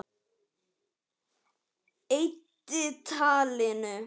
Eyddi talinu.